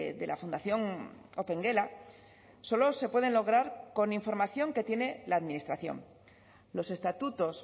de la fundación opengela solo se pueden lograr con información que tiene la administración los estatutos